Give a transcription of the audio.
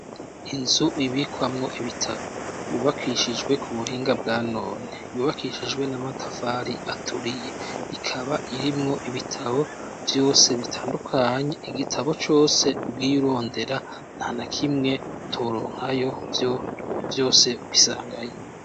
Inzu ibikwamwo ibitabo, yubakishijwe ku buhinga bwa none. yubakishijwe n'amatafari aturiye. Ikaba irimwo ibitabo vyose bitandukanye. Igitabo cose ugiye urondera nta na kimwe utoronkayo vyose ubisangayo.